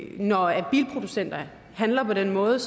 når bilproducenter handler på den måde